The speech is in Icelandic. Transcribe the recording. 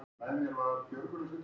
Og þá voru góð ráð dýr.